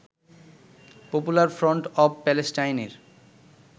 popular front of প্যালেস্টাইনের